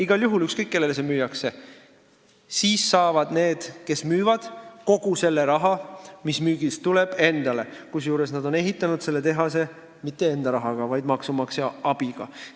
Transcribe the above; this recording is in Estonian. Igal juhul – ükskõik, kellele see müüakse – saavad need, kes müüvad, kogu selle raha, mis müügist tuleb, endale, kusjuures nad ei ole ehitanud selle tehase mitte enda rahaga, vaid maksumaksja abiga.